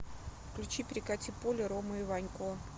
включи перекати поле ромы иванько